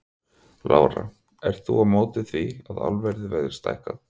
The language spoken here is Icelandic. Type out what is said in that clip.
Lára: Ert þú á móti því að álverið verði stækkað?